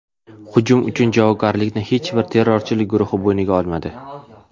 Hujum uchun javobgarlikni hech bir terrorchilik guruhi bo‘yniga olmadi.